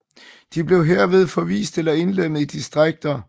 De blev herved forvist eller indlemmet i distrikter